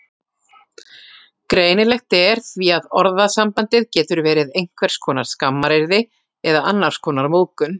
Greinilegt er því að orðasambandið getur verið einhvers konar skammaryrði eða annars konar móðgun.